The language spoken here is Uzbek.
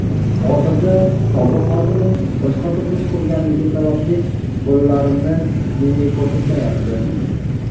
Hozirda sobiq xotinim boshqa turmush qurganligi sababli bolalarimni menga ko‘rsatmayapti.